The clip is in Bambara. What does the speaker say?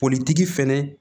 Politigi fɛnɛ